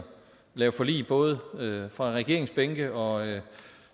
lave forlig både fra regeringsbænken og